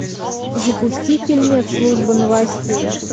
запусти фильмец служба новостей